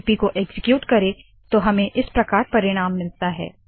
लिपि को एक्सीक्यूट करे तो हमें इस प्रकार परिणाम मिलता है